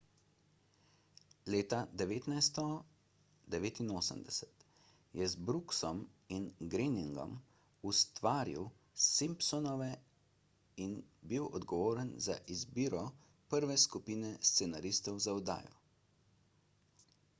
leta 1989 je z brooksom in groeningom ustvaril simpsonove in bil odgovoren za izbiro prve skupine scenaristov za oddajo